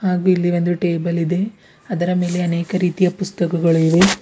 ಹಾಗು ಇಲ್ಲಿ ಒಂದು ಟೇಬಲ್ ಇದೆ ಅದರ ಮೇಲೆ ಅನೇಕ ರೀತಿಯ ಪುಸ್ತಕಗಳು ಇವೆ.